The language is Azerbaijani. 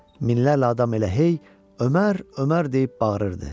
Minlərlə adam elə hey Ömər, Ömər deyib bağırırdı.